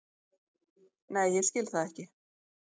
Nei ég skil það ekki.